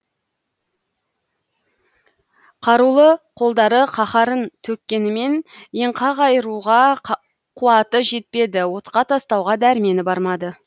қарулы қолдары қаһарын төккенімен енқақ айыруға қуаты жетпеді отқа тастауға дәрмені бармады